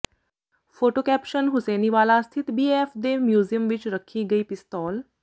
photo caption Hussainiwala ਸਥਿਤ ਬੀਐੱਐੱਫ ਦੇ ਮਿਊਜ਼ੀਅਮ ਵਿੱਚ ਰੱਖੀ ਗਈ ਪਿਸਤੌਲ